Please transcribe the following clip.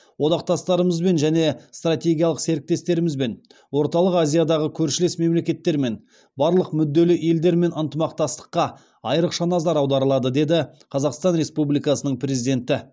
одақтастарымызбен және стратегиялық серіктестерімізбен орталық азиядағы көршілес мемлекеттермен барлық мүдделі елдермен ынтымақтастыққа айырықша назар аударылады деді қазақстан республикасының президенті